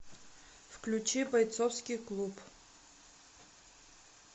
включи бойцовский клуб